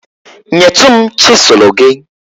nyetụ m chịsụlụ gị.